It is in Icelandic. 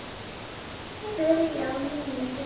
Byrjar á nýjum bikar.